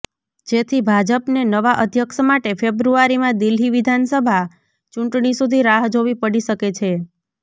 જેથી ભાજપને નવા અધ્યક્ષ માટે ફેબ્રુઆરીમાં દિલ્હી વિધાનસભા ચૂંટણી સુધી રાહ જોવી પડી શકે છે